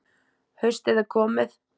Haustið er komið.